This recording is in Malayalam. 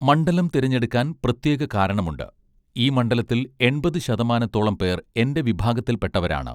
മണ്ഡലം തിരഞ്ഞെടുക്കാൻ പ്രത്യേക കാരണമുണ്ട് ഈ മണ്ഡലത്തിൽ എൺപത് ശതമാനത്തോളം പേർ എന്റെ വിഭാഗത്തിൽപ്പെട്ടവരാണ്